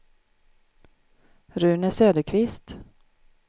Rune Söderqvist